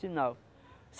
Sinal.